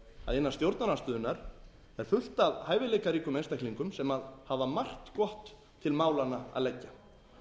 að innan stjórnarandstöðunnar sé fullt af hæfileikaríkir einstaklingum sem hafa margt gott til málanna að leggja